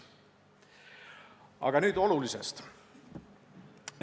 Aga nüüd olulisest.